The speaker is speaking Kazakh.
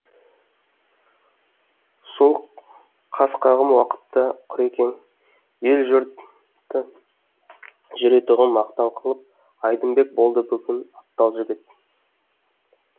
сол қас қағым уақытта құрекең ел жұрты жүретұғын мақтан қылып айдынбек болды бүгін атпал жігіт